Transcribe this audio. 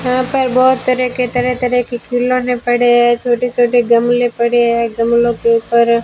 यहां पर बहुत तरह के तरह तरह की खिलौने पड़े हैं छोटे छोटे गमले पड़े हैं गमलों के ऊपर --